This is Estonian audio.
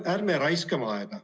Ärme raiskame aega.